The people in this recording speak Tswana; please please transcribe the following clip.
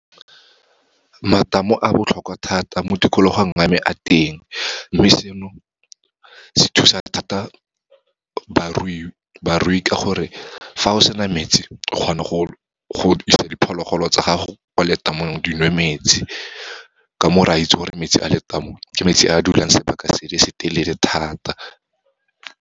Matamo a botlhokwa thata. Mo tikologong ya me a teng, mme seno se thusa thata barui ka gore, fa o sena metsi, o kgona go isa diphologolo tsa gago kwa letamong dinwe metsi. Ka moo, re a itse gore metsi a letamo, ke metsi a dulang sebaka se le se telele thata.